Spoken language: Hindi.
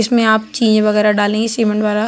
इसमें आप चीज वगैरा डालेंगे सीमेंट वगैरह।